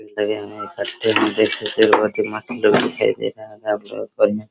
लगे हुए हैं दिखाई दे रहा होगा आप लोगो को बढ़िया --